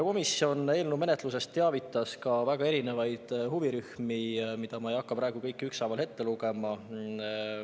Komisjon teavitas eelnõu menetlusest ka väga erinevaid huvirühmi, mida ma ei hakka praegu kõiki ükshaaval ette lugema.